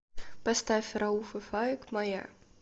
поставь рауф и фаик моя